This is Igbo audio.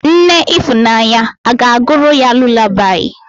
Nne ifunanya aga-agụụrụ ya lulabaị?